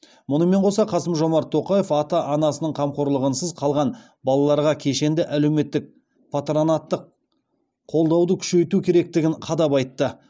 мұнымен қоса қасым жомарт тоқаев ата анасының қамқорлығынсыз қалған балаларға кешенді әлеуметтік патронаттық қолдауды күшейту керектігін қадап айтты